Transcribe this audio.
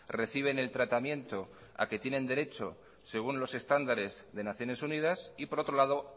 reciben el tratamiento a que tienen derecho según los estándares de naciones unidas y por otro lado